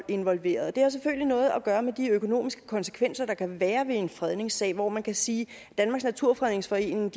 involveret og det har selvfølgelig noget at gøre med de økonomiske konsekvenser der kan være ved en fredningssag hvor man kan sige at danmarks naturfredningsforening